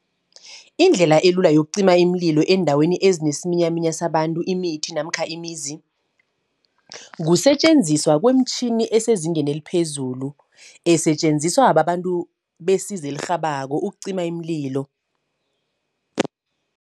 Indlela elula yokucima iimlilo eendaweni ezinesiminyaminya sabantu, imithi, namkha imizi. Kusetjenziswa kweemtjhini esezingeni eliphezulu, esetjenziswa babantu besizo elirhabako ukucima iimlilo.